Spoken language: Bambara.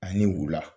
Ani wula